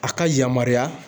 A ka yamaruya